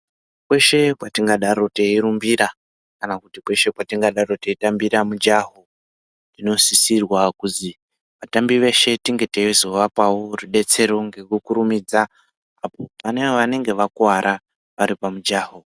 Kweshe kwatingadaro teirumbira kana kuti kweshe kwatingadaro teidambira mujaho, zvinosisirwa kuzi atambi eshe tinge tizoapawo rubetsero ngekukurumidza pane anenge akuwara aripamujaho.